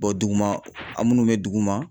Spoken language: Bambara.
Bɔn duguma a munnu be duguma